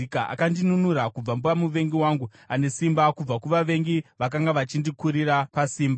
Akandinunura kubva pamuvengi wangu ane simba, kubva kuvavengi, vakanga vachindikurira pasimba.